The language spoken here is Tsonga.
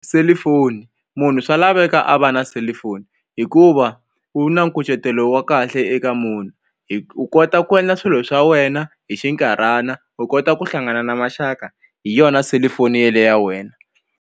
Selifoni munhu swa laveka a va na selifoni hikuva u na nkucetelo wa kahle eka munhu u kota ku endla swilo swa wena hi xinkarhana u kota ku hlangana na maxaka hi yona selufoni yele ya wena.